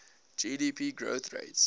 gdp growth rates